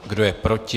Kdo je proti?